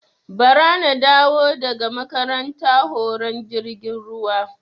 Ba ra na dawo daga makaranta horon jirgin ruwa